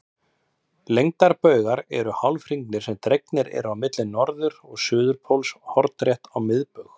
Lengdarbaugar eru hálfhringir sem dregnir eru á milli norður- og suðurpóls hornrétt á miðbaug.